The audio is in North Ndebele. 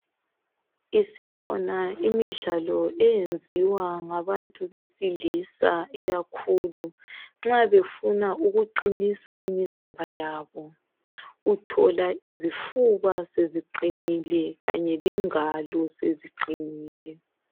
Isikhona imidlalo eyenziwa ngabuntu besilisa ikakhulu nxa befuna ukuqinisa imizimba yabo uthola izifuba seziqinile kanye lengalo seziqinile